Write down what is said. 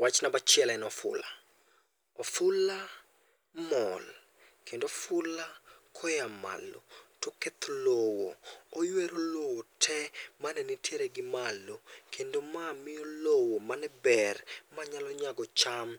Wach namba achiel en ofula. Ofula mol kendo ofula koa malo to oketo lowo, oyuero lowo, oyuero lowo te mane nigimalo kendo ma miyo mane ber mane nyalo nyago cham